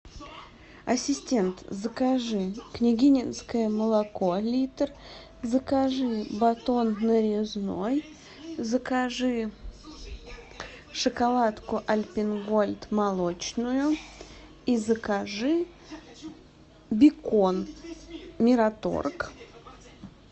ассистент закажи княгининское молоко литр закажи батон нарезной закажи шоколадку альпен голд молочную и закажи бекон мираторг